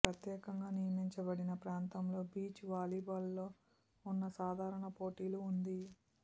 ప్రత్యేకంగా నియమించబడిన ప్రాంతంలో బీచ్ వాలీబాల్ లో ఉన్న సాధారణ పోటీలు ఉంది